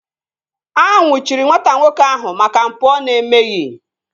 A nnwuchiri nwata nwoke ahụ maka mpụ ọ na-emeghị